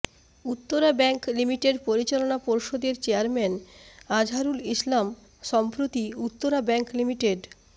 Uttara bank limited পরিচালনা পর্ষদের chairman Azharul Islam সম্প্রতি উত্তরা ব্যাংক লি